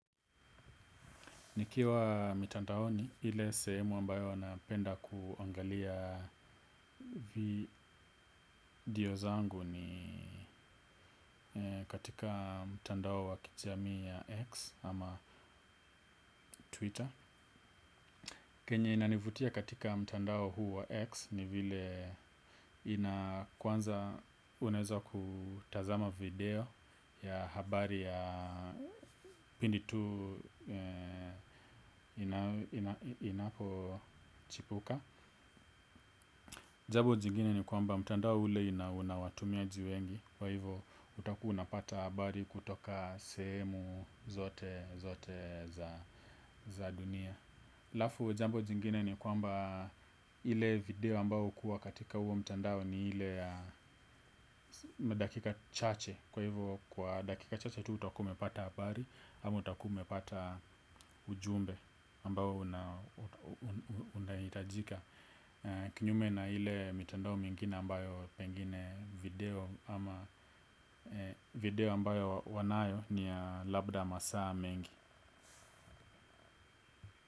Nikiwa mitandaoni ile sehemu ambayo napenda kuangalia video zangu ni katika mtandao wa kijamii ya X ama Twitter. Kenye inanivutia katika mtandao huu wa X, ni vile, inaa, kwanza uneza kutazama video ya habari ya pindi tu inapochipuka. Jambo jingine ni kwamba mtandao ule ina unawatumiaji wengi. Kwa hivo utakuwa unapata habari kutoka semu zote zote za dunia. Alafu jambo jingine ni kwamba, ile video ambao hukuwa katika huo mtandao ni ile ya madakika chache. Kwa hivo, kwa dakika chache tu utakua umepata habari, ama utakua umepata ujumbe ambao unahitajika. Kinyume na ile mitandao mingine ambayo pengine video ama video ambayo wanayo ni ya labda masaa mengi.